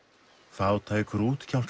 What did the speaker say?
fátækur